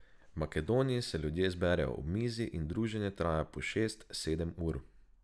V Makedoniji se ljudje zberejo ob mizi in druženje traja po šest, sedem ur.